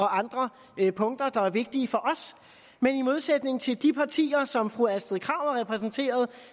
andre punkter der er vigtige for os men i modsætning til de partier som fru astrid krag repræsenterer